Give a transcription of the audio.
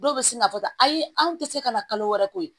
Dɔw bɛ sin ka fɔ tan ayi anw tɛ se ka na kalo wɛrɛ ko ye